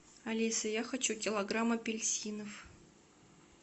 алиса я хочу килограмм апельсинов